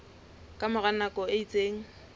ka mora nako e itseng